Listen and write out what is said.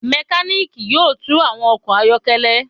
A mekaniki yoo tun awọn ọkọ ayọkẹlẹ